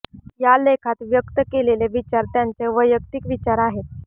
या लेखात व्यक्त केलेले विचार त्यांचे वैयक्तिक विचार आहेत